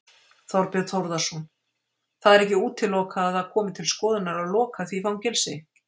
Þorbjörn Þórðarson: Það er ekki útilokað að það komi til skoðunar að loka því fangelsi?